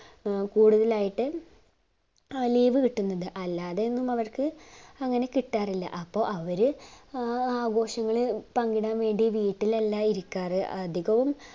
കൂടുതലായിട്ട് ആ leave കിട്ടുന്നത് അല്ലാതെ ഒന്നും അവർക്കു അങ്ങനെ കിട്ടാറില്ല അപ്പൊ അവര് ആഹ് ആഘോഷങ്ങളിൽ പങ്കിടാൻ വേണ്ടി വീട്ടിലല്ല ഇരിക്കാർ അധികവും